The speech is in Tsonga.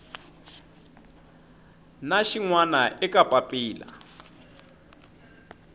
na xin wana eka papila